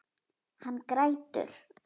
Hann grætur.